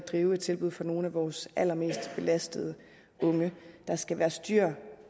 drive et tilbud for nogle af vores allermest belastede unge der skal være styr